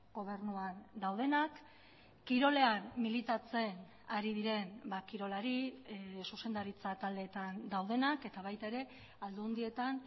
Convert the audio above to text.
gobernuan daudenak kirolean militatzen ari diren kirolari zuzendaritza taldetan daudenak eta baita ere aldundietan